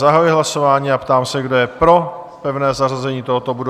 Zahajuji hlasování a ptám se, kdo je pro pevné zařazení tohoto bodu?